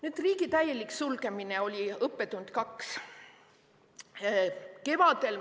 Nüüd, riigi täielik sulgemine oli õppetund nr 2.